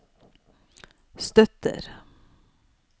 støtter